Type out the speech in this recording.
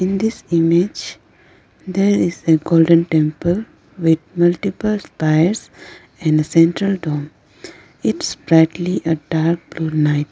in this image there is a golden temple with multiple wires and a central dome. its brightly a dark blue night.